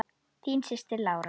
Þín systir, Lára.